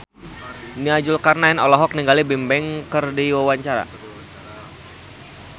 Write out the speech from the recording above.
Nia Zulkarnaen olohok ningali Bigbang keur diwawancara